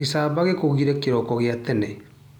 Gicamba gĩkũgire kĩroko gia tene.